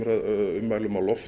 ummælum á lofti